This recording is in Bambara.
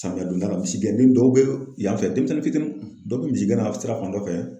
Samiya donda la misi gɛn den dɔw bɛ yan fɛ denmisɛnnin fitininw. Dɔw bɛ misi gɛnna sira fan dɔ fɛ.